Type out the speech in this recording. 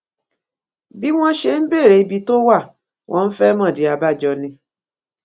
bí wọn ṣe ń béèrè ibi tó wà wọn fẹẹ mọdí abájọ ni